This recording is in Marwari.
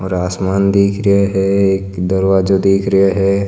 और आसमान दिखरा है एक दरवाजो दिखरा है।